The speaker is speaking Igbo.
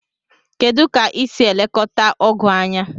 kedụ ka isi elekọta ogu anya?